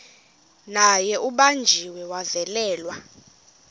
naye ubanjiwe wavalelwa